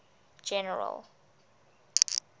general